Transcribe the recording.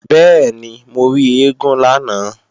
Bẹ́ẹ̀ni, mo rí eégún lánàá